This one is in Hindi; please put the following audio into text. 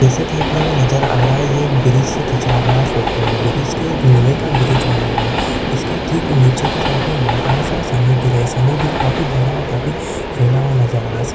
एसे की अपने को नज़र आ रहा है ये एक ब्रिज से खिचा हुआ गया फोटो है ब्रिज के लोहे का ब्रिज बना हुआ है इसके ठीक नीचे के साईडमे बड़ासा समुद्र है समुद्र काफी बड़ा और काफी फैला नज़र आ रहा--